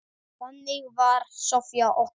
Þannig var bara Soffía okkar.